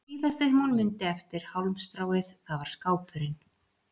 Og það síðasta sem hún mundi eftir hálmstráið það var skápurinn.